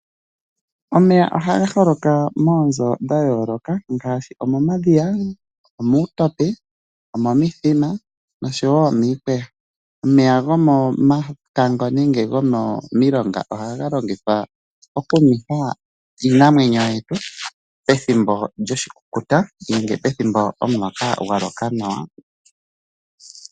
Omeya ohaga holoka moonzo dhayooloka ngaashi, omomadhoya, omuutope, omomithima, noshowo miikweya. Omeya gomomakango nenge gomomilonga ohaga longithwa okunwetha iinamwenyo yetu pethimbo lyoshikukuta nenge pethimbo omuloka gwaloka nawa.